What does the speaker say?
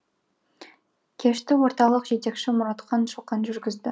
кешті орталық жетекшісі мұратхан шоқан жүргізді